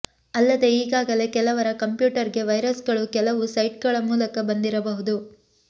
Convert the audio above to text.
ಅಲ್ಲದೇ ಈಗಾಗಲೇ ಕೆಲವರ ಕಂಪ್ಯೂಟರ್ಗೆ ವೈರಸ್ಗಳು ಕೆಲವು ಸೈಟ್ಗಳ ಮೂಲಕ ಬಂದಿರಬಹುದು